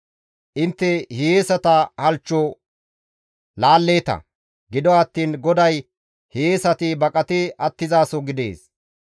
Intte hiyeesata halchcho laalleeta; gido attiin GODAY hiyeesati baqati attizaso gidees.